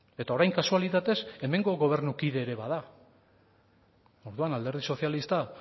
eta orain kasualitatez hemengo gobernukide ere bada orduan alderdi sozialista